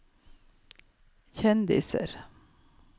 kjendiser